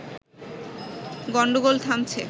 গন্ডোগোল থামছে